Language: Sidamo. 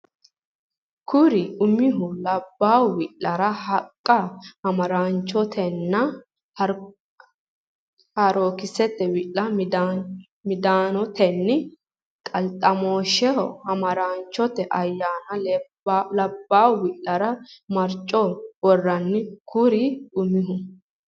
Kuri umihu labbaahu wi lara haqqa Hamaaraanchotenna harookkisete wi Midaanote qalxamooshshira Hamaaraacho ayeenni Labbaahu wi lara maricho worranni Kuri umihu.